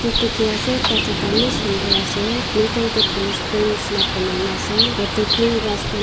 yete dikhi ase ekta jaga eman sundur ase middle de police point nishena bonai na ase yete green grass khan--